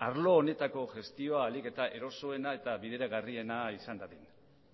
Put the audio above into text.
arlo honetako gestioa ahalik eta erosoena eta bideragarriena izan dadin